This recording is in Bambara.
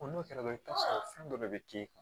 O n'o kɛra i bi t'a sɔrɔ fɛn dɔ de bɛ k'i kun